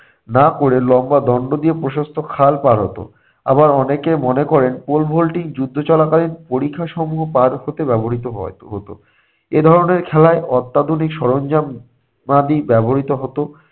না করে লম্বা দণ্ড দিয়ে প্রশস্ত খাল পার হত। আবার অনেকে মনে করেন pole vaulting যুদ্ধ চলাকালীন পরিখা সমূহ পার হতে ব্যবহৃত হয় হতো। এ ধরনের খেলায় অত্যাধুনিক সরঞ্জা মাদি ব্যবহৃত হতো।